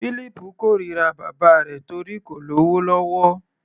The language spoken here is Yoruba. Fílípù kórira bàbá rẹ̀ torí kò lówó lọ́wọ́.